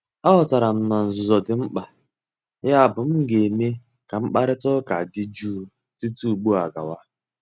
Aghọtara m na nzuzo dị mkpa, yabụ m ga-eme ka mkparịta ụka dị jụụ site ugbu a gawa.